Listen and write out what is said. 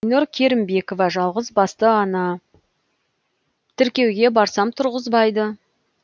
айнұр керімбекова жалғызбасты ана тіркеуге барсам тұрғызбайды